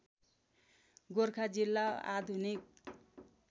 गोरखा जिल्ला आधुनिक